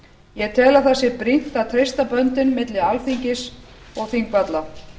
ég tel að það sé brýnt að treysta böndin milli alþingis og þingvalla